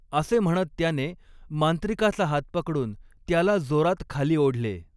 असे म्हणत त्याने मांत्रिकाचा हात पकडून त्याला जोरात खाली ओढले.